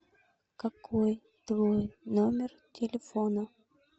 какой твой номер телефона